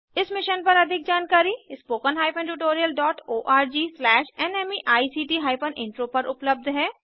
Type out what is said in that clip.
इस मिशन पर अधिक जानकारी spoken hyphen tutorial dot ORG slash NMEICT hyphen intro पर उपलब्ध है